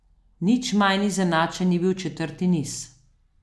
Nič manj izenačen ni bil četrti niz.